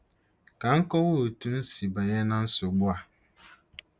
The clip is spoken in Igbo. Ka m kọwaa otú m si banye ná nsogbu a.